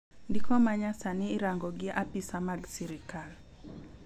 ndiko manyasani irango gi apisa mag sirikal